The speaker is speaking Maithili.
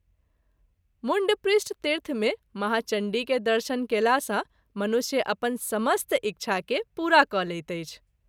मुण्डपृष्ठतीर्थ मे महाचण्डी के दर्शन कएला सँ मनुष्य अपन समस्त इच्छा के पूरा क’ लैत अछि।